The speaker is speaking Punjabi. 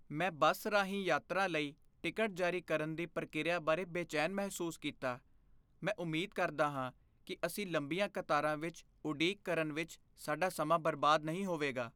ਮੈਂ ਬੱਸ ਰਾਹੀਂ ਯਾਤਰਾ ਲਈ ਟਿਕਟ ਜਾਰੀ ਕਰਨ ਦੀ ਪ੍ਰਕਿਰਿਆ ਬਾਰੇ ਬੇਚੈਨ ਮਹਿਸੂਸ ਕੀਤਾ, ਮੈਂ ਉਮੀਦ ਕਰਦਾ ਹਾਂ ਕਿ ਅਸੀਂ ਲੰਬੀਆਂ ਕਤਾਰਾਂ ਵਿੱਚ ਉਡੀਕ ਕਰਨ ਵਿੱਚ ਸਾਡਾ ਸਮਾਂ ਬਰਬਾਦ ਨਹੀਂ ਹੋਵੇਗਾ।